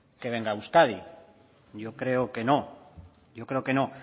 que venga a euskadi yo creo que no yo creo que no